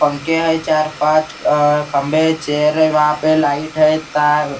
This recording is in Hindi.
पंखे हैं चार पांच अ खम्बे चेयर हैं वहाँ पे लाइट हैं तार तार।